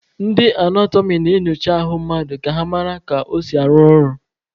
Ndị anatọmị na-enyocha ahụ mmadụ ka ha mara ka o si arụ ọrụ.